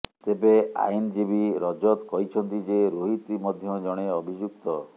ତେବେ ଆଇନଜୀବୀ ରଜତ କହିଛନ୍ତି ଯେ ରୋହିତ ମଧ୍ୟ ଜଣେ ଅଭିଯୁକ୍ତ